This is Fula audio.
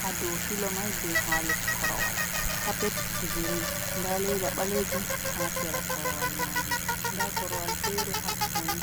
ha dow filo mai be ha les korowal. Kapet girin, nda leda ɓalejum ha sera korowal majum, nda korowal fere hattoni